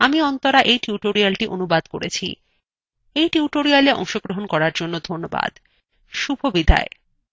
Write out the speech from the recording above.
এই টিউটোরিয়ালএ অংশগ্রহন করার জন্য ধন্যবাদ শুভবিদায়